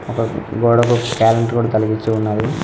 గోడకు క్యాలెండరు కూడ తలిగించి ఉన్నాది.